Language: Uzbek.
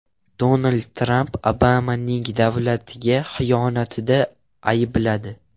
Donald Tramp Obamani davlatga xiyonatda aybladi.